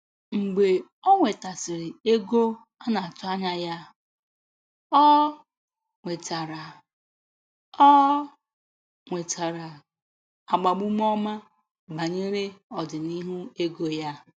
Mgbe ọ nwetasiri ego a na-atụ anya ya, ọ nwetara ọ nwetara agbamume ọma banyere ọdịnihu ego ya.